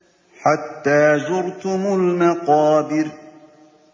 حَتَّىٰ زُرْتُمُ الْمَقَابِرَ